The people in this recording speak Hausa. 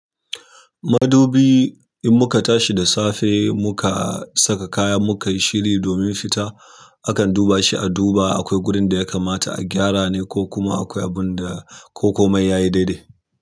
Madubi in muka tashi da safe muka saka kaya mukai shiri domin fita akan duba shi aduba akwai wurin da ya kamata a gyara ne ko kuma akwai abunda ko komai yayi dai dai.